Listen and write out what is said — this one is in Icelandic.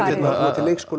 til leikskóla